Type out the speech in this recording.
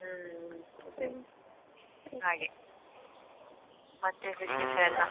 ಹ್ಮ್ ಮತ್ತೆ ಹಾಗೆ ಮತ್ತೆ ವಿಶೇಷಯೆಲ್ಲ.